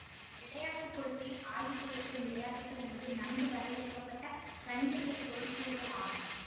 விளையாட்டு கொள்கையில் ஆய்வு செய்யப்படும் விளையாட்டுகள் என்பவை நன்கு வரையறுக்க பட்ட கணிதவியல் பொருள்கூறுகள் ஆகும்